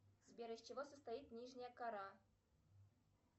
сбер из чего состоит нижняя кора